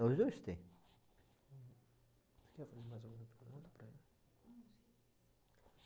Os dois têm. Você quer fazer mais alguma pergunta para ele?